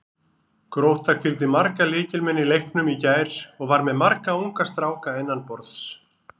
Grótta hvíldi marga lykilmenn í leiknum í gær og var með marga unga stráka innanborðs.